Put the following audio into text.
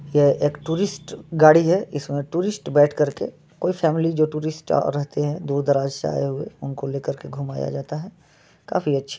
यह एक टूरिस्ट गाड़ी है इसमें टूरिस्ट बैठ कर के कोई फॅमिली जो टूरिस्ट रहते हैं दूर दराज आये हुए उनको लेकर के घुमाया जाता है। काफी अच्छी--